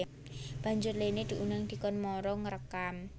Banjur Lene diundang dikon mara ngrekam